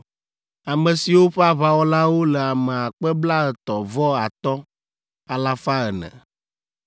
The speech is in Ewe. ame siwo ƒe aʋawɔlawo le ame akpe blaetɔ̃ vɔ atɔ̃, alafa ene (35,400).